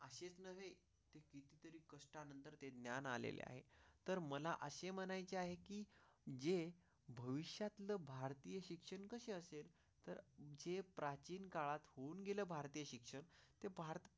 ग्यान आलेली आहे तर मला असे म्हणायचे आहे की जे भविष्यात भारतीय शिक्षण कसे असेल तर जे प्राचीन काळात होऊन गेले भारतीय शिक्षण ते भारता.